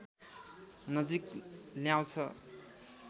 नजिक ल्याउँछ